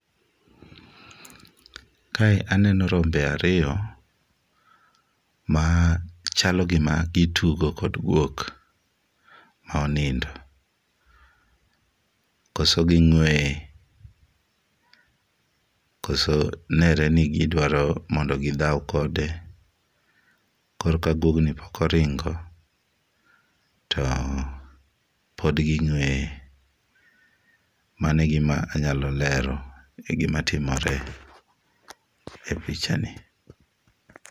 Kae aneno rombe ariyo machalo gima gitugo kod guok ma onindo, kose ging'ueye, kose nenre ni gidwaro mondo gidhaw kode. Koro ka guogni pok oringo to pod ging'ueye. Mano e gima anyalo lero, egimatimore epichani.